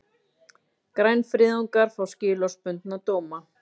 Grænfriðungar fá skilorðsbundna dóma